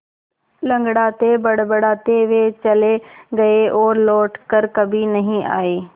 लँगड़ाते बड़बड़ाते वे चले गए और लौट कर कभी नहीं आए